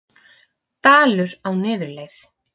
Dalur á niðurleið